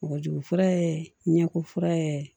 Kɔgɔjugu fura ye ɲɛko fura ye